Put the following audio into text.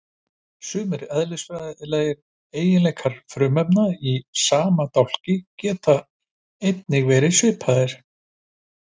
Sumir eðlisfræðilegir eiginleikar frumefna í sama dálki geta einnig verið svipaðir.